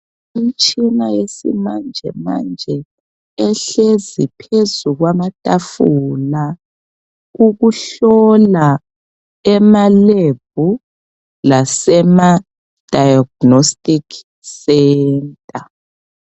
Imtshina yesimanjemanje ehlezi phezu kwamatafula ukuhlola emalebhu lasemadayaginostikhi senta.